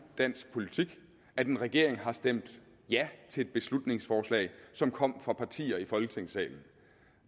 dansk politik at en regering har stemt ja til et beslutningsforslag som kom fra partier i folketingssalen